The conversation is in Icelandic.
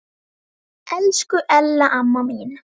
Elsku Ella amma mín.